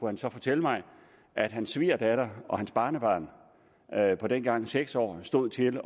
han så fortælle mig at hans svigerdatter og hans barnebarn på dengang seks år stod til at